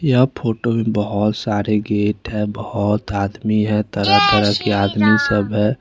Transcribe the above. यह फोटो मे बहोत सारे गेट है बहोत आदमी है तरह तरह के आदमी सब है।